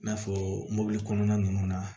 I n'a fɔ mobili kɔnɔna ninnu na